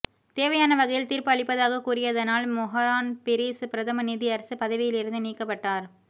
தேவையான வகையில் தீர்ப்பு அளிப்பதாக கூறியதனால் மொஹான் பீரிஸ் பிரதம நீதியரசர் பதவியிலிருந்து நீக்கப்பட்டார்